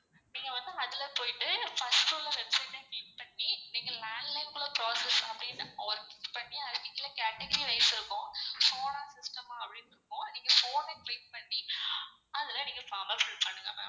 நீங்க வந்து அதுல போய்ட்டு first உள்ள website அ click பண்ணி நீங்க landline குள்ள process அப்படின்னு ஒரு click பண்ணி அதுக்கு கீழ category wise இருக்கும் phone ஆ system ஆ அப்டின்னு இருக்கும். நீங்க phone னுனு click பண்ணி அதுல நீங்க form அ fill பண்ணுங்க ma'am.